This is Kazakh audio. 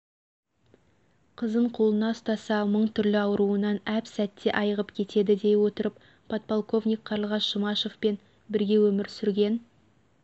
қызын қолына ұстаса мың түрлі ауруынан әп сәтте айығып кетеді дей отырып подполковник қарлығаш жұмашевпен бірге өмір сүрген